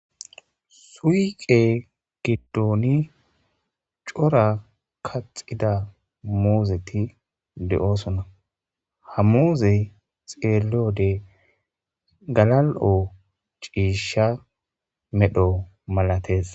Suiqe giddoni cora kaxida muuzeti de'oosona hamuze xeelode galal'o ciisha medho malatees.